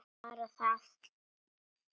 Bara það?